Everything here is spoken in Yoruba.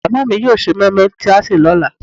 màmá mi yóò sè moimoi tí a sè lọ́la